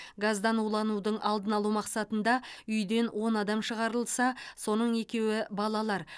газдан уланудың алдын алу мақсатында үйден он адам шығарылса соның екеуі балалар